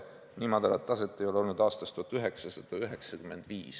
Nii madalat taset ei ole olnud aastast 1995.